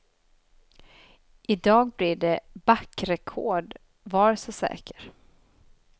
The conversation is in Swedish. Idag blir det backrekord, var så säker.